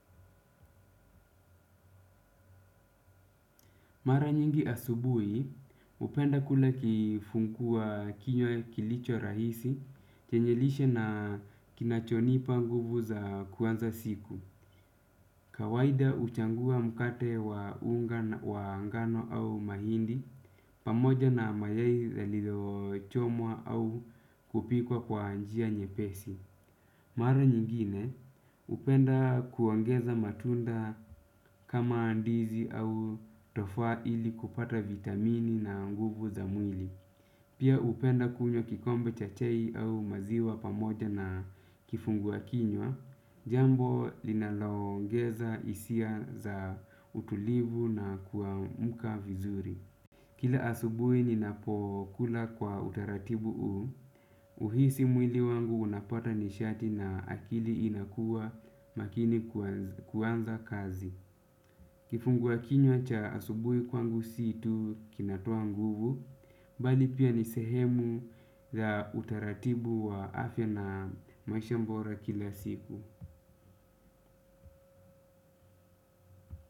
Mara nyingi asubuhi, upenda kula kifunkua kilicho rahisi, chenyelishe na kinachonipa nguvu za kuanza siku. Kawahida uchangua mkate wa unga wa ngano au mahindi, pamoja na mayai yaliyo chomwa au kupikwa kwa njia nye pesi. Mara nyingine, upenda kuongeza matunda kama ndizi au tofaa ili kupata vitamini na nguvu za mwili. Pia upenda kunywa kikombe cha chai au maziwa pamoja na kifungua kinywa, jambo linaloongeza hisia za utulivu na kuamuka vizuri. Kila asubui ninapokula kwa utaratibu u, uhisi mwili wangu unapata nishati na akili inakua makini kuanza kazi. Kifungua kinyo cha asubuhi kwangu situ kinatoa nguvu, bali pia nisehemu za utaratibu wa afya na maisha mbora kila siku.